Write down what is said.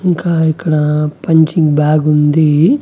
ఇంకా ఇక్కడ పంచింగ్ బ్యాగుంది .